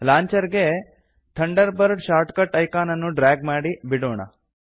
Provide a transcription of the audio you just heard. launcher ಗೆ Thunderbird shortcut icon ಅನ್ನು drag ಮಾಡಿ ಬಿಡೋಣ